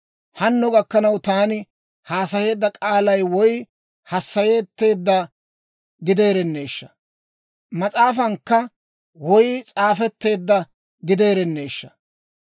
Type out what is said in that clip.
«Hanno gakkanaw taani haasayeedda k'aalay, woy hassayetteedda gideerenneeshsha! Mas'aafankka woy s'aafetteedda gideerenneeshsha!